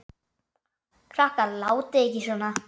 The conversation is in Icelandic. Krakkar látiði ekki svona!